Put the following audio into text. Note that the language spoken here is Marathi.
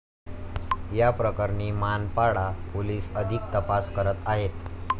या प्रकरणी मानपाडा पोलीस अधिक तपास करत आहेत.